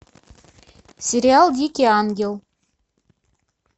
сериал дикий ангел